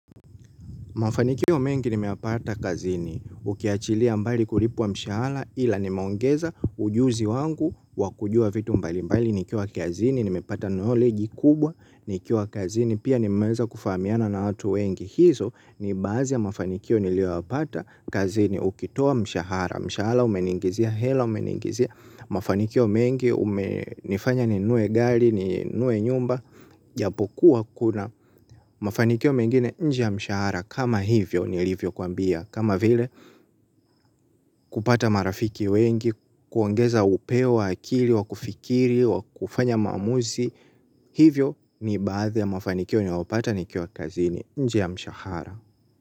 Mafanikio mengi nimeyapata kazini, ukiachilia mbali kulipwa mshahara ila nimeongeza ujuzi wangu wakujua vitu mbali mbali, nikiwa kazini, nimepata knowledge kubwa, nikiwa kazini, pia nimeeza kufahamiana na watu wengi. Hizo ni baadhi ya mafanikio niliyowapata kazini ukitoa mshahara. Mshahara umeniingizia, hela umeniingizia. Mafanikio mengi, nifanye ninunue gari, ninunue nyumba. Japokuwa kuna mafanikio mengine nj e yamshahara. Kama hivyo nilivyokuambia kama vile kupata marafiki wengi, kuongeza upeo wa akili, wa kufikiri, wa kufanya maamuzi. Hivyo ni baadhi ya mafanikio niliopata nikiwa kazini nje ya mshahara.